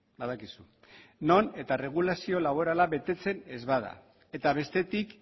badakizu non eta erregulazio laborala betetzen ez bada eta bestetik